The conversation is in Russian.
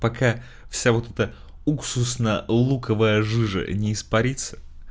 пока вся вот эта уксусно луковая жижа не испарится